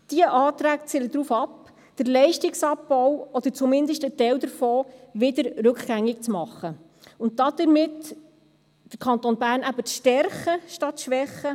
Diese Anträge zielen darauf ab, den Leistungsabbau oder zumindest einen Teil davon, rückgängig zu machen und damit den Kanton Bern eben zu stärken statt zu schwächen.